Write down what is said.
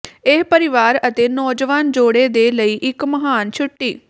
ਇਹ ਪਰਿਵਾਰ ਅਤੇ ਨੌਜਵਾਨ ਜੋੜੇ ਦੇ ਲਈ ਇੱਕ ਮਹਾਨ ਛੁੱਟੀ